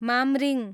Mamring